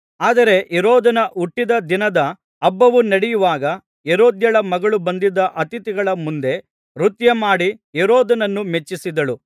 ಆದರೆ ಹೆರೋದನ ಹುಟ್ಟಿದ ದಿನದ ಹಬ್ಬವು ನಡೆಯುವಾಗ ಹೆರೋದ್ಯಳ ಮಗಳು ಬಂದಿದ್ದ ಅತಿಥಿಗಳ ಮುಂದೆ ನೃತ್ಯಮಾಡಿ ಹೆರೋದನನ್ನು ಮೆಚ್ಚಿಸಿದಳು